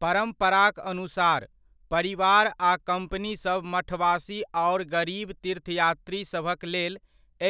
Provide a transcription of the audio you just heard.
परम्पराक अनुसार, परिवार आ कम्पनीसभ मठवासी आओर गरीब तीर्थयात्रीसभक लेल,